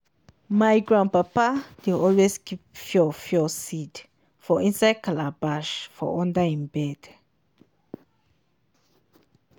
my grandpapa dey always keep fiofio seed for inside calabash for under e bed